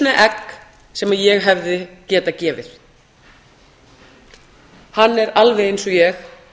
egg sem ég hefði getað gefið hann er alveg eins og ég